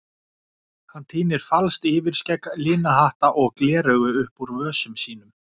Hann tínir falskt yfirskegg, lina hatta og gleraugu upp úr vösum sínum.